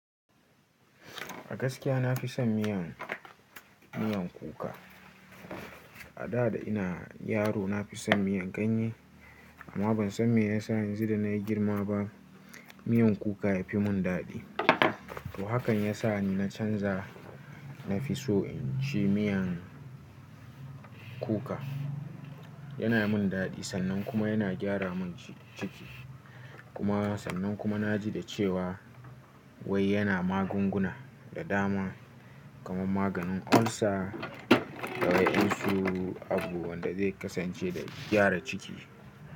A gaskiya na fi son miyan, miyan kuka. A da da ina yaro na fi son miyan ganye amma ban san me ya sa yanzu da na yi girma ba miyan kuka ya fi min daɗi. To hakan ya sa ni na canza, na fi so in ci miyan kuka. Yana mun daɗi sannan kuma yana gyara min ci-ciki. Kuma sannan kuma na ji da cewa wai yana magunguna da dama kamar maganin olsa, da waɗamsu abu wanda zai kasance da gyara ciki.